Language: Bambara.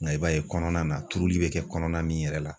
Nka i b'a ye kɔnɔna na turuli bɛ kɛ kɔnɔna min yɛrɛ la.